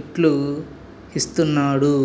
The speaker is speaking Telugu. ఇట్లూహిస్తున్నాడు